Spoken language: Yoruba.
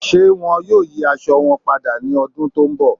Ṣé wọ́n yóò yí àṣọ wọn pádà ní ọ̀dún tó nbọ̀?